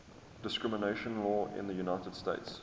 discrimination law in the united states